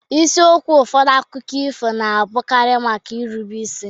Isiokwu ụfọdụ akụkọ ifo na-abụkarị maka nrube isi.